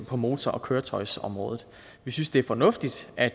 på motor og køretøjsområdet vi synes det er fornuftigt at